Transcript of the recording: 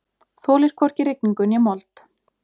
Þolir hvorki rigningu né mold.